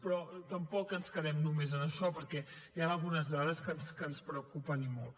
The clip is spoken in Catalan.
però tampoc ens quedem només en això perquè hi han algunes dades que ens preocupen i molt